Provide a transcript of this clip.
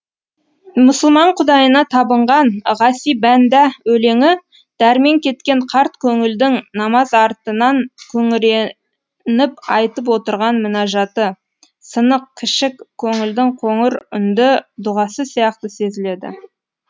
мұсылман құдайына табынған ғаси бәндә өлеңі дәрмен кеткен қарт көңілдің намаз артынан күңіреніп айтып отырған мінажаты сынық кішік көңілдің қоңыр үнді дұғасы сияқты сезіледі